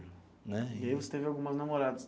Né. E aí você teve algumas namoradas?